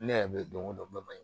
Ne yɛrɛ bɛ donko don ba ye